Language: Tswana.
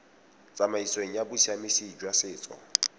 tsamaisong ya bosiamisi jwa setso